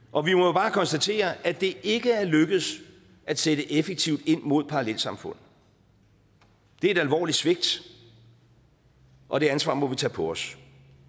og vi må jo bare konstatere at det ikke er lykkedes at sætte effektivt ind mod parallelsamfund det er et alvorligt svigt og det ansvar må vi tage på os